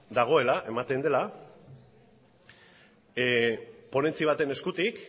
dagoela eta ematen dela ponentzia baten eskutik